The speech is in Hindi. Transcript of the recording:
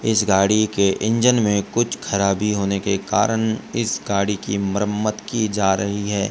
इस गाड़ी के इंजन मे कुछ खराबी होने के कारण इस गाड़ी की मरामद की जा रही है।